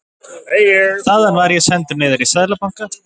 Þaðan var ég sendur niður í Seðlabanka.